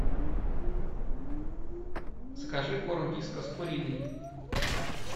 закажи корм вискас куриный